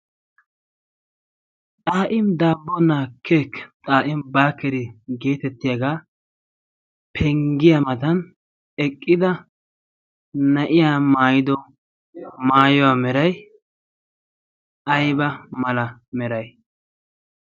xaa'im daambona keeki xaa'im barkkeri geetettiyaagaa penggiyaa matan eqqida na'iya maayido maayuwaa merai ayba mala meray?